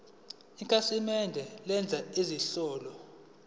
ikhasimende lenza izinhlelo